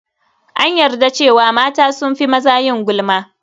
An yarda cewa mata sun fi maza yin gulma.